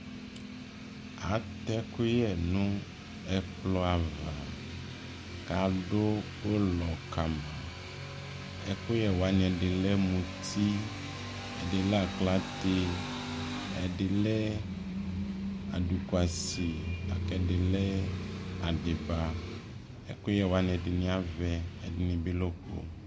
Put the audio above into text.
atʒ ʒkʋyʒnʋ ʒkplɔ aɣa, kʋ adʋ ʋlɔ kama, ʒkuyʒwani ʒdi lʒ mʋtii, ʒdi lʒ aklatʒ, ʒdilʒ adukwasi, lakʋ ʒdi lʒ adiba ʒkʋyʒ wani ʒdini avʒ, ,ʒdi bi lʒ ɔkpɔ